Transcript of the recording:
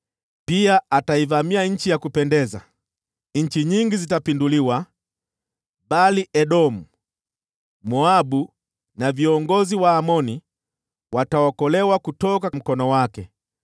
Pia ataivamia Nchi ya Kupendeza. Nchi nyingi zitapinduliwa, bali Edomu, Moabu na viongozi wa Amoni wataokolewa kutoka mkono wake.